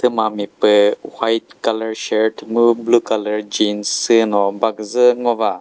thüma mi püh white colour shirt mu blue colour jeans süh no baküzü ngo ba.